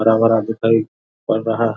हरा-भरा दिखाई पड़ रहा है